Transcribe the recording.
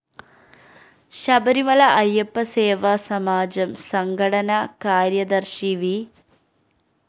ശബരിമല അയ്യപ്പ സേവാ സമാജം സംഘടന കാര്യദര്‍ശി വി